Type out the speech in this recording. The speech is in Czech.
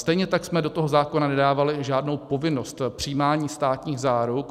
Stejně tak jsme do toho zákona nedávali žádnou povinnost přijímání státních záruk.